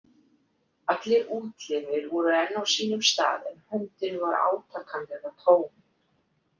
Allir útlimir voru enn á sínum stað en höndin var átakanlega tóm.